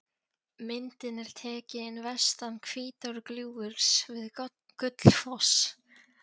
Myndin er tekin vestan Hvítárgljúfurs við Gullfoss.